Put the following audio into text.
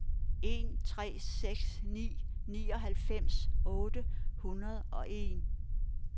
en tre seks ni nioghalvfems otte hundrede og en